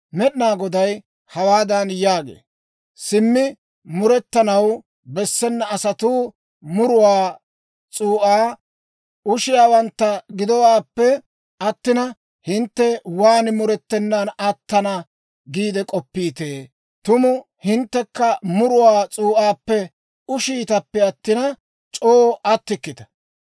Med'inaa Goday hawaadan yaagee; «Simmi murettanaw bessena asatuu muruwaa s'uu'aa ushiyaawantta gidowaappe attina, hintte waan murettenan attana giide k'oppiitee? Tuma hinttekka muruwaa s'uu'aappe ushiitappe attina, c'oo attikkita.